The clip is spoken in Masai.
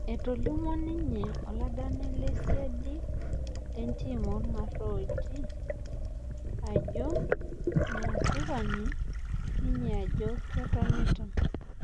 Etolimuo inye oladani lesiadi lentim orgarooji ajo measipani ninye ajo ketonita